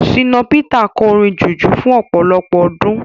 Ṣínà Pítà kọ orin jùjú fún ọ̀pọ̀lọpọ̀ ọdún.